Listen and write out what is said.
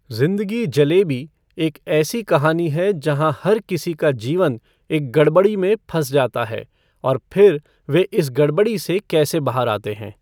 जिंदगी जलेबी एक ऐसी कहानी है जहाँ हर किसी का जीवन एक गड़बड़ी में फंस जाता है और फिर वे इस गड़बड़ी से कैसे बाहर आते हैं।